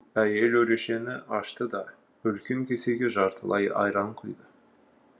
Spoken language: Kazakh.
әйел өрешені ашты да үлкен кесеге жартылай айран құйды